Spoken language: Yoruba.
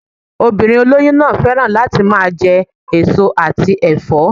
Obìnrin olóyún náà féràn láti máa je èso àti èfó